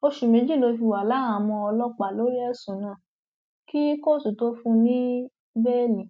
oṣù méjì ló fi wà láhàámọ ọlọpàá lórí ẹsùn náà kí kóòtù tóo fún un ní bẹẹlí